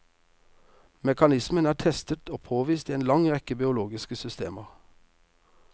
Mekanismen er testet og påvist i en lang rekke biologiske systemer.